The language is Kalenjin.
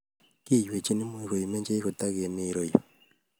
Kiywei much koimenchech ketigemi yurayu